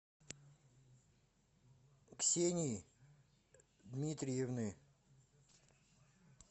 ксении дмитриевны